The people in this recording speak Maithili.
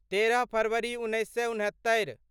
तेरह फरवरी उन्नैस सए उनहत्तरि